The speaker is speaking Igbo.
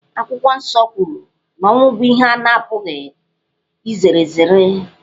Akwụkwọ Nsọ kwuru na ọnwụ bụ ihe a na-apụghị izere ezere.